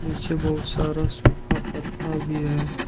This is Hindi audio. पीछे बहुत सारा सूखा पत्ता भी है।